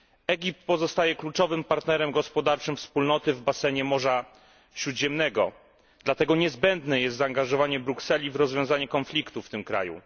Egipt pozostaje kluczowym partnerem gospodarczym Wspólnoty w basenie Morza Śródziemnego, dlatego niezbędne jest zaangażowanie Brukseli w rozwiązanie konfliktu w tym kraju.